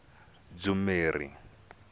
dzumeri